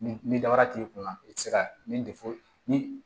Ni dabara t'i kunna i tɛ se ka min ni